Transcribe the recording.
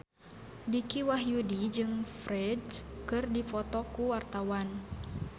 Dicky Wahyudi jeung Ferdge keur dipoto ku wartawan